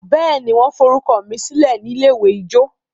béèni wan forukọsilẹ mí silẹ ní ilé-ìwé ijó?